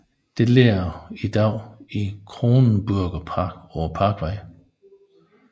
Det ligger i dag i Kronenburgerpark på parkvejen